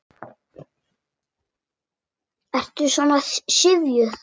Ertu svona syfjuð?